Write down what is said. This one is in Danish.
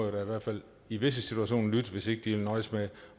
i hvert fald i visse situationer lytte hvis ikke de vil nøjes med